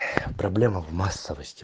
проблема в массовости